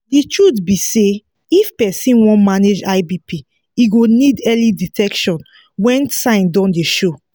the truth be say if persin wan manage high bp e go need early detection when sign don dey show